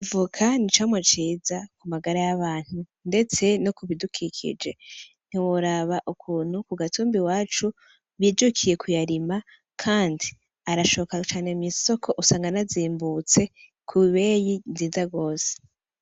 Ivoka n'icamwa ciza ku magara y'abantu ndetse no kubidukikije, ntiworaba ukuntu ku gatumba iwacu bijukiye kuyarima kandi arashoka cane mw'isoko usanga anazimbutse ku beyi nziza gose.